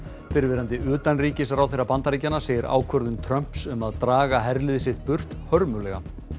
fyrrverandi utanríkisráðherra Bandaríkjanna segir ákvörðun Trumps um að draga herlið sitt burt hörmulega